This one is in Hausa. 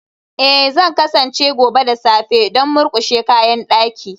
Ee, Zan kasance gobe da safe don murƙushe kayan daki